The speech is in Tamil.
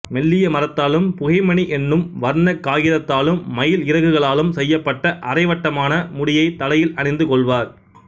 மெல்லிய மரத்தாலும் புகைமணி என்னும் வர்ணக் காகிதத்தாலும் மயில் இறகுகளாலும் செய்யப்பட்ட அரைவட்டமான முடியைத் தலையில் அணிந்து கொள்வர்